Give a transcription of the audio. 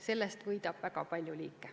Sellest võidab väga palju liike.